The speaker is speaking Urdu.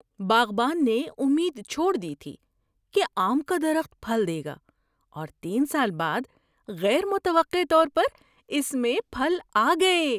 باغبان نے امید چھوڑ دی تھی کہ آم کا درخت پھل دے گا، اور تین سال بعد غیر متوقع طور پر اس میں پھل آ گئے۔